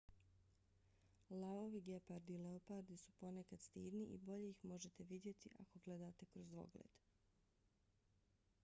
lavovi gepardi i leopardi su ponekad stidni i bolje ih možete vidjeti ako gledate kroz dvogled